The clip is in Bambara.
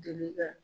Deli ka